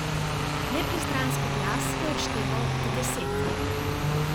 Nepristranski glas je odšteval od deset.